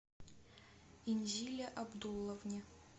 инзиле абдулловне